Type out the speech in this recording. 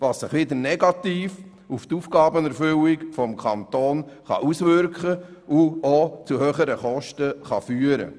Das kann sich negativ auf die Aufgabenerfüllung des Kantons auswirken und zu höheren Kosten führen.